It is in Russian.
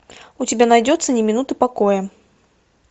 у тебя найдется ни минуты покоя